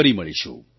ફરી મળીશું